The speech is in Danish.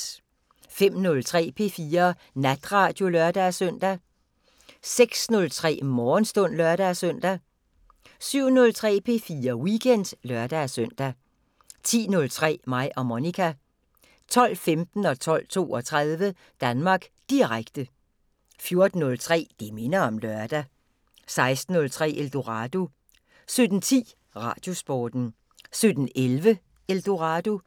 05:03: P4 Natradio (lør-søn) 06:03: Morgenstund (lør-søn) 07:03: P4 Weekend (lør-søn) 10:03: Mig og Monica 12:15: Danmark Direkte 12:32: Danmark Direkte 14:03: Det minder om lørdag 16:03: Eldorado 17:10: Radiosporten 17:11: Eldorado